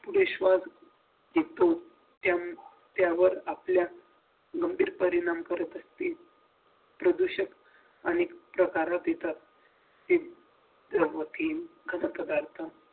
दुष्परिणाम येतो त्या त्यावर आपल्या गंभीर परिणाम करत असते प्रदूषित आणि माहिती